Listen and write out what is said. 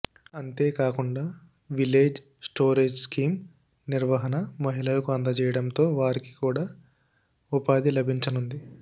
అంతేకాకుండా village storage scheme నిర్వహణ మహిళలకు అందజేయడంతో వారికి కూడా ఉపాధి లభించనుంది